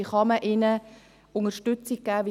Wie kann man ihnen Unterstützung geben?